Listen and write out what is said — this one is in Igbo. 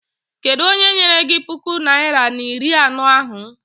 Kedụ onye nyere gị puku naịra na iri anọ ahụ?